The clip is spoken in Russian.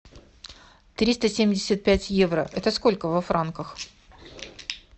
триста семьдесят пять евро это сколько во франках